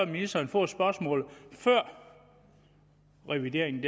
ministeren fået spørgsmålet før revideringen